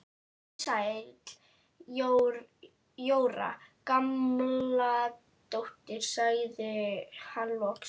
Komdu sæl Jóra Gamladóttir sagði hann loks.